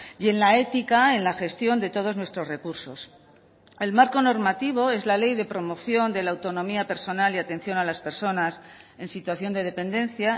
y en la ética en la gestión de todos nuestros recursos el marco normativo es la ley de promoción de la autonomía personal y atención a las personas en situación de dependencia